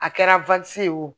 A kɛra ye wo